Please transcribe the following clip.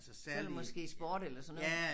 Så det måske sport eller sådan noget